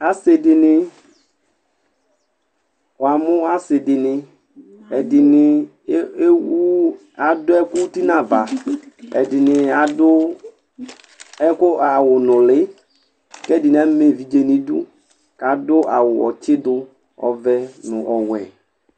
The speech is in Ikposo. Asidini wamu asidini ɛdini ewu ɛdini adu ɛku uti nava ɛdini adu awu nuli kɛdini ama evidze nu idu adu awu ɔtsidu ɔvɛ nu ɔwɛ